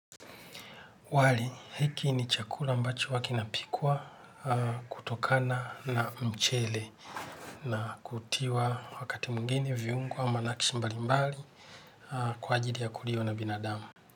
Wali hiki ni chakula ambacho huwa kinapikwa kutokana na mchele na kutiwa wakati mwingine viungo ama nakshi mbali mbali kwa ajili ya kuliwa na binadamu.